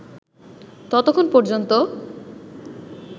ততক্ষণ পর্যন্ত